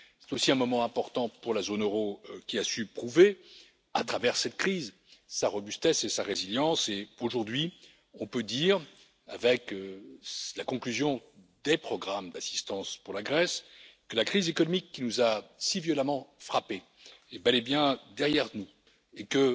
C'est aussi un moment important pour la zone euro qui a su prouver, à travers cette crise, sa robustesse et sa résilience, et aujourd'hui on peut dire, avec la conclusion des programmes d'assistance pour la Grèce, que la crise économique qui nous a si violemment frappés est bel et bien derrière nous et que